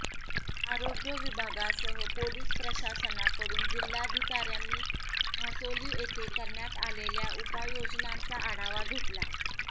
आरोग्य विभागासह पोलीस प्रशासनाकडून जिल्हाधिकाऱ्यांनी म्हासोली येथे करण्यात आलेल्या उपायोजनांचा आढावा घेतला